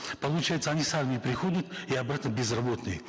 получается они с армии приходят и обратно безработные